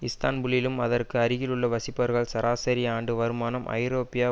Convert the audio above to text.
இஸ்தான்புல்லிலும் அதற்கு அருகிலும் வசிப்பவர்கள் சராசரி ஆண்டு வருமானம் ஐரோப்பிய